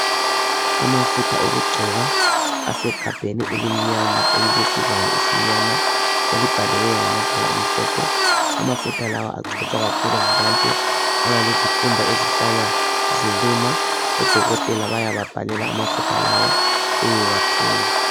Amafutha okugcoba asegabheni elimnyama elilesivalo esimnyama, elibhaliweyo ngamabala amhlophe. Amafutha lawa agcotshwa kakhulu ngabantu abalezikhumba ezihlala ziluma. Odokotela bayababhalela amafutha lawa beyewathenga.